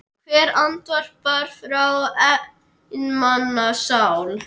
Hvert andvarp frá einmana sál.